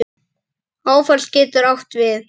Áfall getur átt við